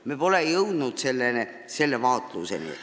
Me pole jõudnud selle vaatluseni.